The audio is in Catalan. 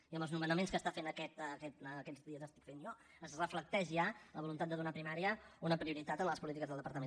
i en els nomenaments que està fent aquests dies que estic fent jo es reflecteix ja la voluntat de donar a primària una prioritat en les polítiques del departament